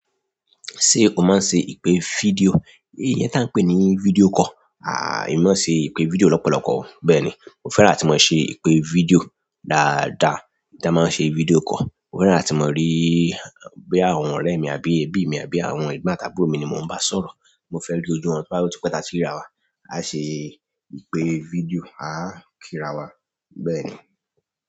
Ṣé o máa ń ṣe ìpè fídíò, ni iyẹn tá ń pè ní fídíò call. Èmi máa ń ṣe ìpè fídíò lọ́pọ̀lọpọ̀. Bẹ́ẹ̀ni, mo fẹ́ràn atí mo ṣe ìpè fídíò dáadáa tí a máa ń ṣe fídíò call. Mo fẹ́ràn atí mo rí boya àwọn ọ̀rẹ́ mi àbí ẹbí mi àbí àwọn egbon àti àbúrò mi ni mò ń bá sọ̀rọ̀. Mo fẹ́ ri ojú wọn boya o tí pe tá tí rira wa. A ṣe ìpè fídíò, a kíra wa, bẹ́ẹ̀ ni.